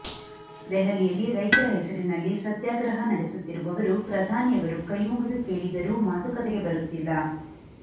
ದೆಹಲಿಯಲ್ಲಿ ರೈತರ ಹೆಸರಿನಲ್ಲಿ ಸತ್ಯಾಗ್ರಹ ನಡೆಸುತ್ತಿರುವವರು ಪ್ರಧಾನಿಯವರು ಕೈಮುಗಿದು ಕೇಳಿದರೂ ಮಾತುಕತೆಗೆ ಬರುತ್ತಿಲ್ಲ